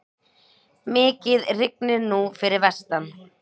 Mikið rignir nú fyrir vestan.